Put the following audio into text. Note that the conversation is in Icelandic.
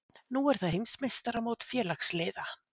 Nú er það heimsmeistaramót félagsliða